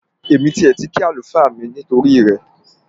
Èmi tiẹ̀ ti kí àlùfáà mi nítorí rẹ